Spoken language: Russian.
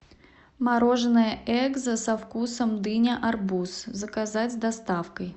мороженое экзо со вкусом дыня арбуз заказать с доставкой